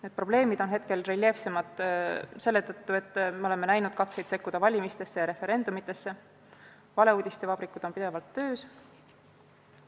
Need probleemid on praegu reljeefsemad selle tõttu, et me oleme näinud katseid sekkuda valimistesse ja referendumitesse, valeuudiste vabrikud on pidevalt töös.